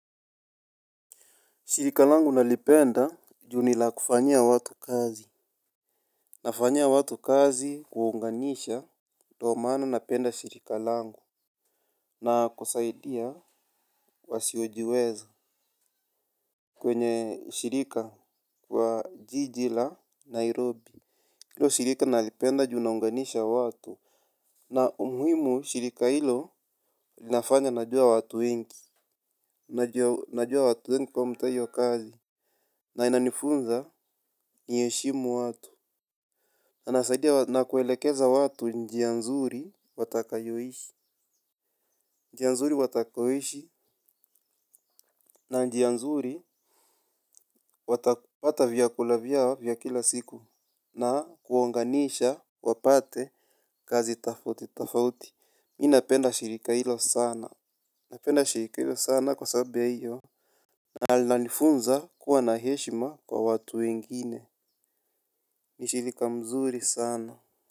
Shirika langu nalipenda juu nila kufanya watu kazi. Nafanyia watu kazi kuunganisha. Ndio maana napenda shirika langu. Na kusaidia wasiojiweza. Kwenye shirika wa Jiji la Nairobi. Hilo shirika nalipenda juu inaonganisha watu. Na umhimu shirika hilo linafanya najua watu wengi. Najua watu wengi kwa huu mtaa hio kazi. Na inanifunza niheshimu watu. Anasaidia watu na kuelekeza watu njia nzuri watakayoishi. Njia nzuri watakayoishi na njia nzuri, watapata vyakula vyao vya kila siku. Na kuunganisha wapate kazi tofauti tofauti. Mimi napenda shirika hilo sana. Napenda shirika hilo sana kwa sababu ya hiyo. Na linanifunza kuwa na heshima kwa watu wengine. Ni shirika mzuri sana.